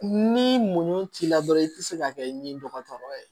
Ni muɲu t'i la dɔrɔn i ti se ka kɛ i ni dɔgɔtɔrɔ ye